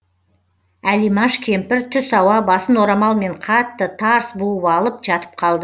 әлимаш кемпір түс ауа басын орамалмен қатты тарс буып алып жатып қалды